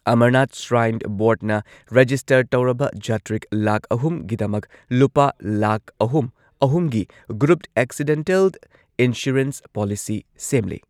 Amarnath shrine ꯕꯣꯔꯗꯅ register ꯇꯧꯔꯕ ꯖꯥꯇ꯭ꯔꯤꯛ ꯂꯥꯈ ꯑꯍꯨꯝꯒꯤꯗꯃꯛ ꯂꯨꯄꯥ ꯂꯥꯈ ꯑꯍꯨꯝ ꯑꯍꯨꯝꯒꯤ ꯒ꯭ꯔꯨꯞ ꯑꯦꯛꯁꯤꯗꯦꯟꯇꯦꯜ ꯏꯟꯁꯨꯔꯦꯟꯁ ꯄꯣꯂꯤꯁꯤ ꯁꯦꯝꯂꯦ꯫